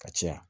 Ka caya